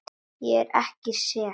Ég er ekki sek.